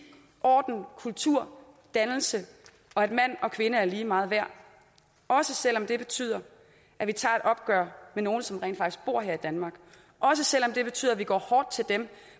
orden kultur dannelse og at mand og kvinde er lige meget værd også selv om det betyder at vi tager et opgør med nogle som rent faktisk bor her i danmark også selv om det betyder at vi går hårdt til dem